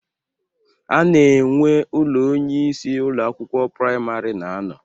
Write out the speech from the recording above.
A na-enwe ụlọ onyeisi Ụlọ akwụkwọ praịmarị na-anọ